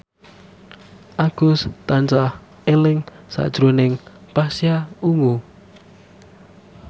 Agus tansah eling sakjroning Pasha Ungu